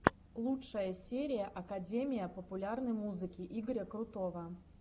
лучшая серия академия популярной музыки игоря крутого